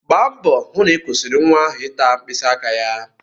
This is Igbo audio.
Gba mbọ hụ na ị kwụsịrị nwa ahụ ịta mkpịsị aka ya!